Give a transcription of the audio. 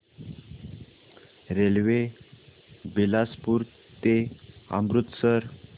railway Bilaspur ते अमृतसर